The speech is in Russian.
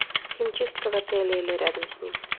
химчистка в отеле или рядом с ним